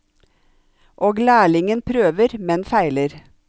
Og lærlingen prøver, men feiler.